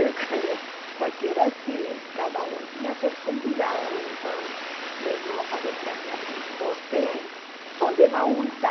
Escolher, porque era assim, cada um tinha seus convidados, então meu irmão falou para mim assim, você só leva um, tá?